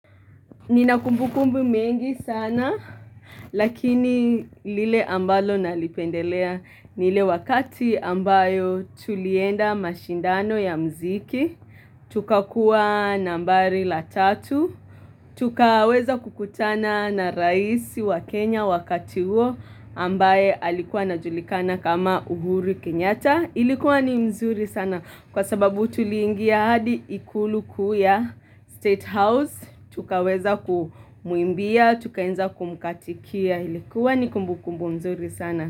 Nina kumbu kumbu mengi sana, lakini lile ambalo nalipendelea ni ile wakati ambayo tulienda mashindano ya muziki, tukakua nambari la tatu, tukaweza kukutana na raisi wa Kenya wakati huo ambaye alikuwa anajulikana kama uhuru Kenyatta. Ilikuwa ni mzuri sana kwa sababu tuliingia hadi ikulu kuu ya state house. Tukaweza kumuimbia, tukaenza kumkatikia. Ilikuwa ni kumbu kumbu mzuri sana.